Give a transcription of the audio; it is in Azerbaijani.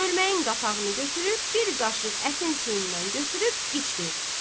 Çölməyin qapağını götürüb bir qaşıq ətin suyundan götürüb içdi.